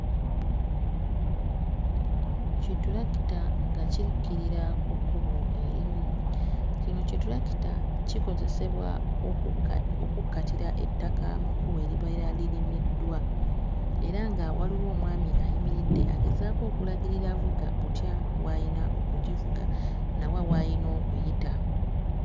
Kittulakita nga kikkirira ku kkubo erimu kino kittulakita kikozesebwa okukka okukkatira ettaka mu kkubo eribeera lirimiddwa era nga waliwo omwami ayimiridde agezaako okulagirira avuga butya bw'ayina okugivuga na wa w'ayina okuyita.